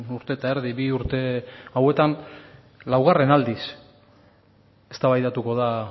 urte eta erdi bi urte hauetan laugarren aldiz eztabaidatuko da